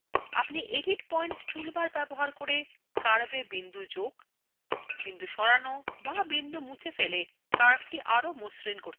আপনি edit points toolbar ব্যবহার করে curve বিন্দু যোগ সরানো বা বিন্দু মুছে ফেলে curvethe আরো মসৃন করতে পারবেন